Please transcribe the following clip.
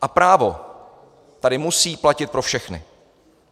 A právo tady musí platit pro všechny.